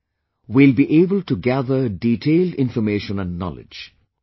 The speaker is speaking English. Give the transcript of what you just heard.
We will be able to gather detailed information & knowledge